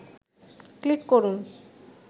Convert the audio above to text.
click করুন